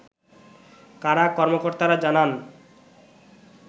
কারা কর্মকর্তারা জানান